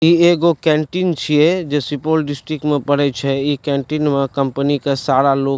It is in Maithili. इ एगो कैंटीन छीये जे सुपौल डिस्ट्रिक्ट में पड़य छै इ कैंटीन में कंपनी के सारा लोग --